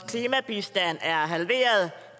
klimabistand er halveret